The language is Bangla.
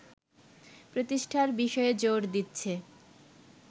প্রতিষ্ঠার বিষয়ে জোর দিচ্ছে